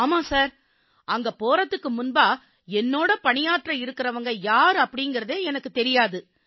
ஆமாம் சார் அங்க போகறதுக்கு முன்பா என்னோடு பணியாற்ற இருக்கறவங்க யார் அப்படீங்கறதே எனக்குத் தெரியாது